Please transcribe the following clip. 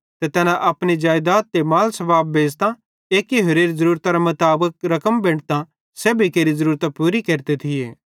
ते तैना अपनी जेइदात ते माल सबाब बेच़तां एक्की होरेरी ज़ुरूरतरे मुताबिक रकम बेंटतां सेब्भी केरि ज़रूरत पूरी केरते थिये